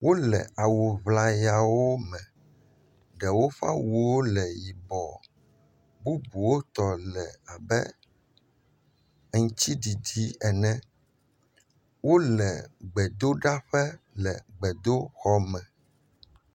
Wole awu ŋlayawo me, ɖewo ƒe awuwo le yibɔ. Bubuwo tɔ le abe aŋutiɖiɖi ene. Wole gbedoɖaƒele gbedoxɔme.